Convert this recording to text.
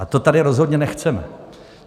A to tady rozhodně nechceme.